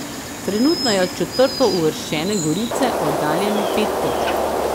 Trenutno je od četrtouvrščene Gorice oddaljen pet točk.